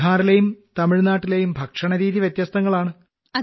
ബീഹാറിലെയും തമിഴ്നാട്ടിലെയും ഭക്ഷണരീതി വ്യത്യസ്തങ്ങളാണ്